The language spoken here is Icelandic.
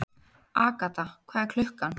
Agatha, hvað er klukkan?